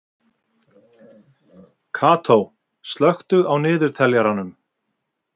Karó, slökktu á niðurteljaranum.